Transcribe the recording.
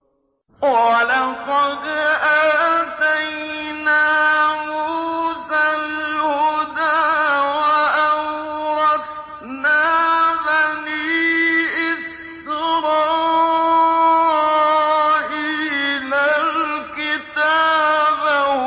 وَلَقَدْ آتَيْنَا مُوسَى الْهُدَىٰ وَأَوْرَثْنَا بَنِي إِسْرَائِيلَ الْكِتَابَ